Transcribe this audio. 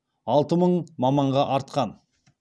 алты мың маманға артқан